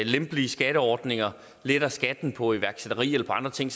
lempelige skatteordninger letter skatten på iværksætteri eller på andre ting